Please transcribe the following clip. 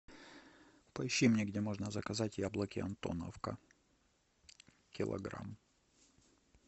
поищи мне где можно заказать яблоки антоновка килограмм